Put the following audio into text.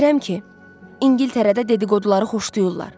Bilirəm ki, İngiltərədə dedi-qoduları xoşlayırlar.